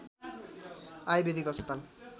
आयुर्वेदिक अस्पताल